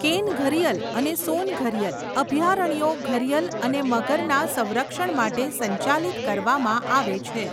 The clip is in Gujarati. કેન ઘરીયલ અને સોન ઘરીયલ અભયારણ્યો ઘરીયલ અને મગરના સંરક્ષણ માટે સંચાલિત કરવામાં આવે છે.